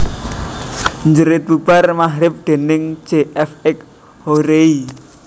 Jerit bubar magrib déning J F X Hoery